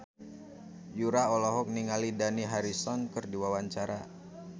Yura olohok ningali Dani Harrison keur diwawancara